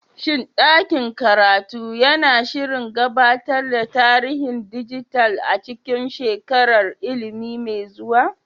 Shin ɗakin karatu yana shirin gabatar da tarihin dijital a cikin shekarar ilimi mai zuwa?